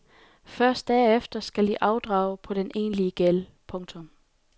Først derefter skal de afdrage på den egentlige gæld. punktum